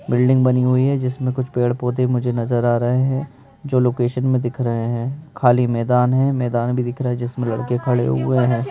Building बनी हुई है जिसमें कुछ पेड़-पौधे मुझे नज़र आ रहे हैं जो लोकेशन में दिख रहे हैं खाली मैदान है मैदान भी दिख रहा है जिसमें लड़के खड़े हुए हैं।